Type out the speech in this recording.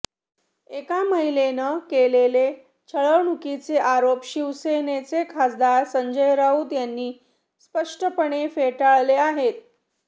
एका महिलेनं केलेले छळवणुकीचे आरोप शिवसेनेचे खासदार संजय राऊत यांनी स्पष्टपणे फेटाळले आहेत